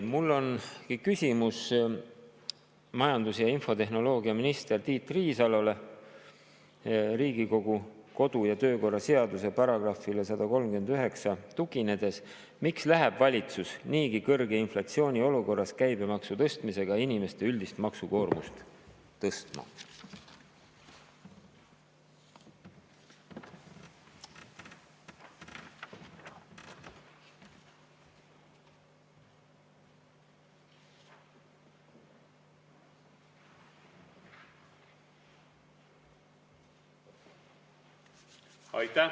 Mul on küsimus majandus‑ ja infotehnoloogiaminister Tiit Riisalole Riigikogu kodu‑ ja töökorra seaduse §‑le 139 tuginedes: miks läheb valitsus niigi kõrge inflatsiooni olukorras käibemaksu tõstmisega inimeste üldist maksukoormust tõstma?